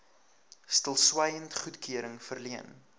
stilswyend goedkeuring verleen